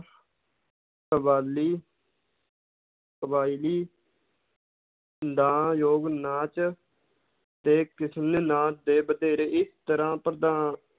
ਕਬਾਲੀ ਕਬਾਇਲੀ ਦਾ ਯੋਗ ਨਾਚ ਤੇ ਨਾਚ ਦੇ ਵਧੇਰੀ ਤਰ੍ਹਾਂ ਪ੍ਰਧਾ~